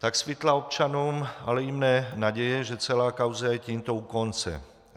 Tak svitla občanům, ale i mně naděje, že celá kauza je tímto u konce.